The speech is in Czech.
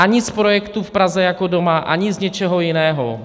Ani z projektu V Praze jako doma, ani z ničeho jiného.